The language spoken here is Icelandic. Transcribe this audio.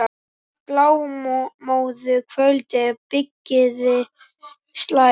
Blámóðu kvöldið á byggðir slær.